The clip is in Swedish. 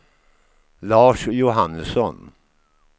Lars Johannesson